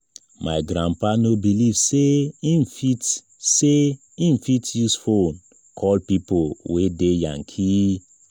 my grandpa no believe sey im fit sey im fit use fone call pipo wey dey yankee.